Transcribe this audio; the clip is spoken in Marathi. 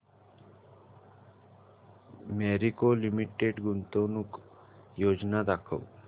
मॅरिको लिमिटेड गुंतवणूक योजना दाखव